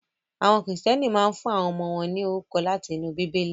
Àwọn Kìrìtẹ́ẹ́nì máa ń fún àwọn ọmọ wọn ní orúkọ láti inú Bíbélì.